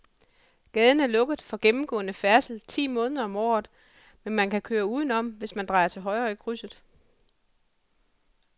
Gaden er lukket for gennemgående færdsel ti måneder om året, men man kan køre udenom, hvis man drejer til højre i krydset.